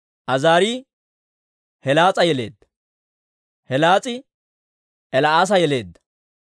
Azaarii Helees'a yeleedda; Helees'i El"aasa yeleedda;